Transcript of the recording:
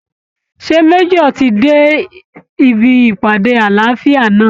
Ṣé Major ti dé ibi ìpàdé àlàáfíà náà?